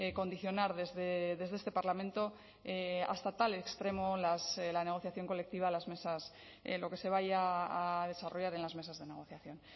condicionar desde este parlamento hasta tal extremo la negociación colectiva las mesas lo que se vaya a desarrollar en las mesas de negociación